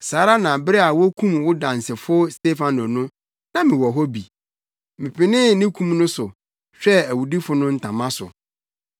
Saa ara na bere a wokum wo dansefo Stefano no, na mewɔ hɔ bi. Mepenee ne kum no so, hwɛɛ awudifo no ntama so.’